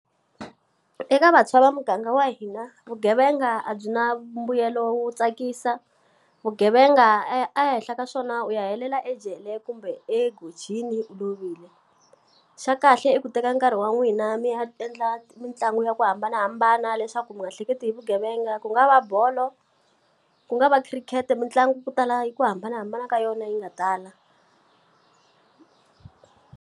Eka vantshwa va muganga wa hina vugevenga a byi na mbuyelo wo tsakisa, vugevenga ehenhla ka swona u ya helela ejele kumbe egojini u lovile. Xa kahle i ku teka nkarhi wa n'wina mi ya endla mitlangu ya ku hambanahambana leswaku mi nga hleketi hi vugevenga. Ku nga va bolo, ku nga va khirikhete, mitlangu ku tala hi ku hambanahambana ka yona yi nga tala.